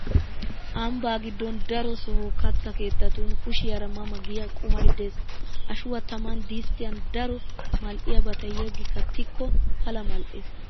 Ambbaa giddon daro soho katta keettatun kishiyaara ma ma giya qumay de'es. Ashuwaa taman disttiyan daro mal'iyaabata yeggi kattikko pala mal'es.